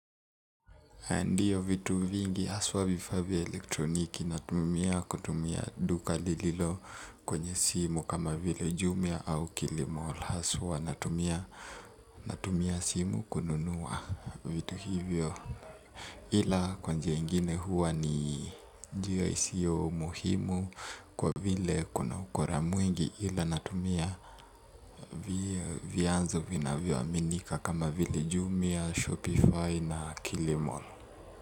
Ndiyo vitu vingi haswa vifaa vya elektroniki natumia kutumia duka lililo kwenye simu kama vile jumia au kilimall haswa natumia simu kununua vitu hivyo ila kwa njia ingine huwa ni njia isiyo muhimu kwa vile kuna ukora mwingi ila natumia vianzo vinavyoaminika kama vile jumia, Shopify na kilimall.